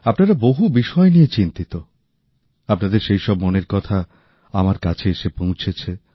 আপনারা বহু বিষয় নিয়ে চিন্তিত আপনাদের সেই সব মনের কথা আমার কাছে এসে পৌঁছেছে